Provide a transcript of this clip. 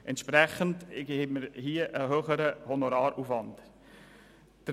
Entsprechend haben wir hier einen höheren Honoraraufwand zu leisten.